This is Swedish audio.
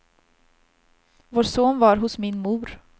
Vår son var hos min mor.